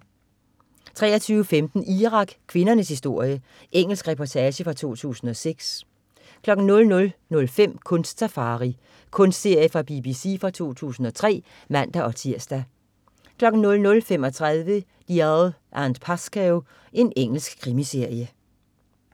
23.15 Irak: kvindernes historie. Engelsk reportage fra 2006 00.05 Kunst-safari. Kunstserie fra BBC fra 2003 (man-tirs) 00.35 Dalziel & Pascoe. Engelsk krimiserie